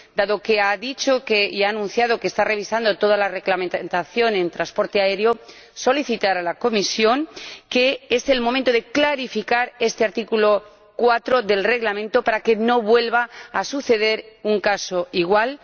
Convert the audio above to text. Dado que ha dicho y ha anunciado que está revisando toda la reglamentación en transporte aéreo, indico a la Comisión que es el momento de clarificar este artículo 4 del Reglamento, para que no vuelva a suceder un caso igual.